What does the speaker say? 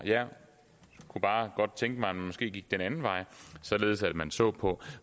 jeg kunne bare godt tænke mig at man måske gik den anden vej således at man så på